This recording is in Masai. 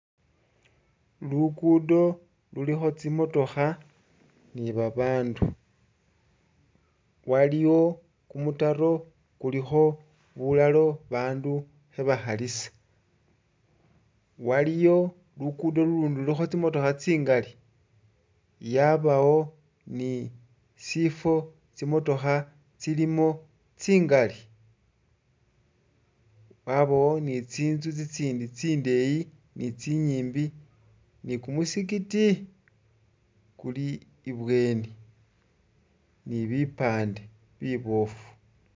Luggudo lulikho tsimotokha ni'babandu waliwo kumutaro khulikho bulalo bandu khabakhalisa waliyo luggudo lulundi lulikho tsimotokha tsingali yabawo ni sifo tsimotokha tsilimo tsingali yabowo ni'tsinzu tsitsindi tsindeyi ni'tsinyimbi ni'kumusikiti kuli i'bweni ni'bipande bibofu